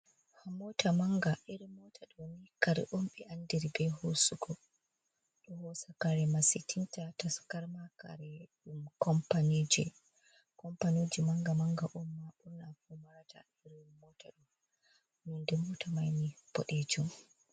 Nda mota manga irin mota ɗoni kare on ɓe andiri be hosugo ɗo hosakare masitinta takanama makare ɗum kompaniji manga manga on ma ɓurnafo marata irin mota ɗum nunɗi mota maini bodejum.